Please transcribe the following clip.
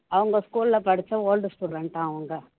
அவங்க school ல படிச்ச old student ஆம் அவங்க